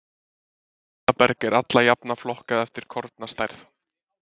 Molaberg er alla jafna flokkað eftir kornastærð.